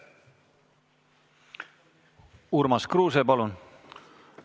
Urmas Kruuse, palun!